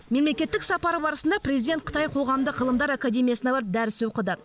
мемлекеттік сапары барысында президент қытай қоғамдық ғылымдар академиясына барып дәріс оқыды